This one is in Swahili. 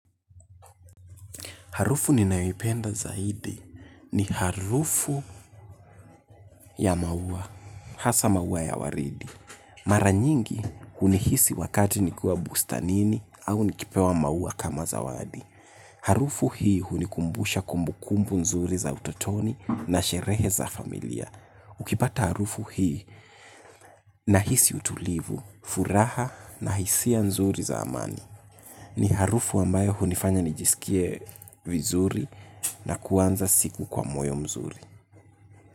Harufu ninayoipenda zaidi ni harufu ya maua, hasa maua ya waridi. Mara nyingi hunihisi wakati nikiwa bustanini au nikipewa maua kama za wadi. Harufu hii hunikumbusha kumbukumbu nzuri za utotoni na sherehe za familia. Ukipata harufu hii nahisi utulivu, furaha na hisia nzuri za amani. Ni harufu ambayo hunifanya nijisikie vizuri na kuanza siku kwa moyo mzuri.